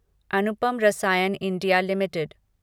Anupam Rasayan India limited